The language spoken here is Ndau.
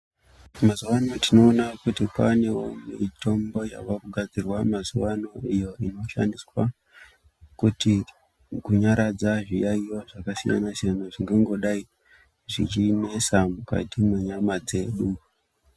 Mazuvano tinoona kuti kwaane mitombo yavakugadzirwa mazuvano iyo inoshandiswa kuti kunyaradza zviyaiyo zvakasiyana-siyana zvingangodai zvechinesa mukati menyama dzenyu.